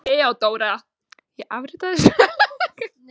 THEODÓRA: Ég afritaði skjölin ásamt undirskriftum í rétta bók.